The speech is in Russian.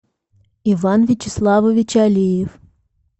иван вячеславович алиев